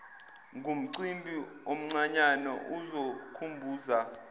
ngumcimbi omncanyana ozokhumbuza